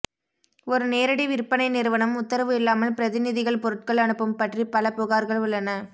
ஒரு நேரடி விற்பனை நிறுவனம் உத்தரவு இல்லாமல் பிரதிநிதிகள் பொருட்கள் அனுப்பும் பற்றி பல புகார்கள் உள்ளன